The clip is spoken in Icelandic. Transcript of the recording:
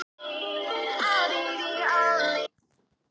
Bætti því við að ég ætti að koma í einkaskóla hans ef ég mögulega gæti.